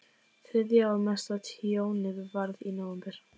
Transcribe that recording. Þriðja og mesta tjónið varð í nóvember.